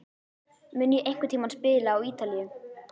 Mun ég einhvern tíma spila á Ítalíu?